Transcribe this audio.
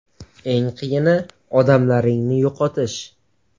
Eng qiyini odamlaringni yo‘qotish.